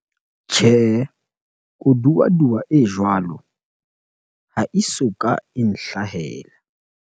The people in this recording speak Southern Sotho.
Tjhehe, koduwaduwa e jwalo ha e soka e nhlahella.